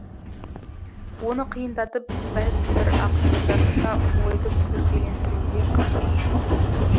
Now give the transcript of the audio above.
оны қиындатып бәз бір ақындарша ойды күрделендіруге қарсымын